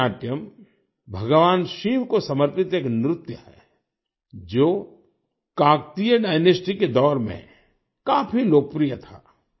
Perini Natyam भगवान शिव को समर्पित एक नृत्य है जो काकतीय डायनास्टी के दौर में काफी लोकप्रिय था